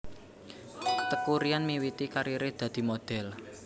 Teuku Ryan miwiti kariré dadi modhél